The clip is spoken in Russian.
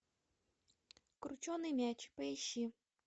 крученый мяч поищи